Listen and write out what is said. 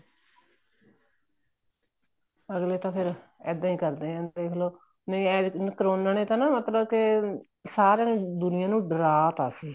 ਅਗਲੇ ਤਾਂ ਫ਼ਿਰ ਇੱਦਾਂ ਹੀ ਕਰਦੇ ਹੈ ਦੇਖਲੋ ਨਹੀਂ ਕਰੋਨਾ ਨੇ ਤਾਂ ਮਤਲਬ ਕੇ ਸਾਰੀ ਦੁਨੀਆਂ ਨੂੰ ਡਰਾ ਤਾ ਸੀ